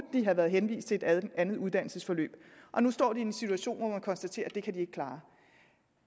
have været henvist til et andet uddannelsesforløb og nu står i en situation må konstatere at det kan de ikke klare